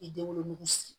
I denwolonugu siri